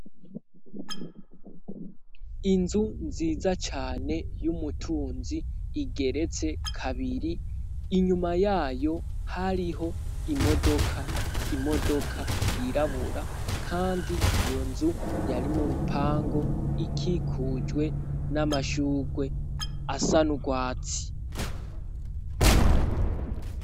Inzu nziza cane y'umutunzi igeretse kabiri, inyuma yayo hariho imodoka yirabura kandi iyo nzu yari mu rupangu ikikujwe n'amashurwe asa n'urwatsi.